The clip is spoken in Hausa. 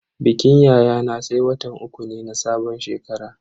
Bikin yayana sai watan uku ne na sabon shekara.